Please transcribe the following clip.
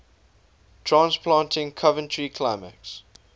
transplanting coventry climax